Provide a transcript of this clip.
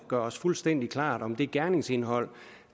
gør os fuldstændig klart om det gerningsindhold